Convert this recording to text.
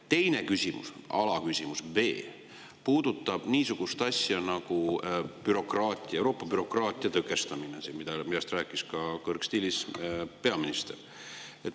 Teine küsimus, alaküsimus, puudutab niisugust asja nagu Euroopa bürokraatia tõkestamine, millest rääkis kõrgstiilis ka peaminister.